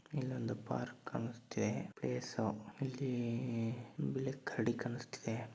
ಇಲ್ಲಿ ಒಂದು ಪಾರ್ಕ್ ಕಾಣಿಸ್ತಿದೆ ಪ್ಲೇಸು ಇಲ್ಲಿ ಬಿಳಿ ಕರಡಿ ಕಾಣಿಸುತ್ತದೆ.